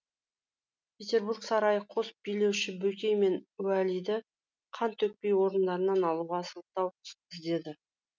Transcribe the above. петербург сарайы қос билеуші бөкей мен уәлиді қан төкпей орындарынан алуға сылтау іздеді